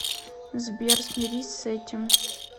сбер смирись с этим